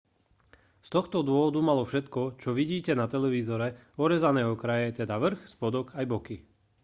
z tohto dôvodu malo všetko čo vidíte na televízore orezané okraje teda vrch spodok aj boky